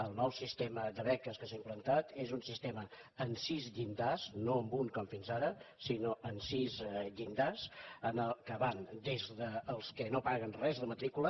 el nou sistema de beques que s’ha implantat és un sistema amb sis llindars no amb un com fins ara sinó amb sis llindars que van des dels que no paguen res de matrícula